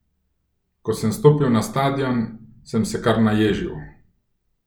Ko sem stopil na stadion, sem se kar naježil.